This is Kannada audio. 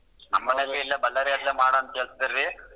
ನಮ್ ಮನೆಯಲ್ಲೂ ಇಲ್ಲೆ ಬಳ್ಳಾರಿ ಅಲ್ಲೆ ಮಾಡು ಅಂತ್ ಹೇಳ್ತಿದ್ದಾರೆ ರೀ.